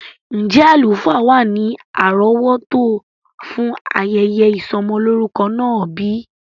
Njẹ alufaa wa ni arọwọto fun ayẹyẹ isọmọ lorukọ naa bi?